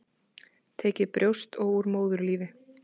Tekið brjóst og úr móðurlífi.